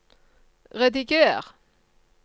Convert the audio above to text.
rediger